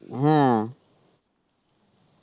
হ্যাঁ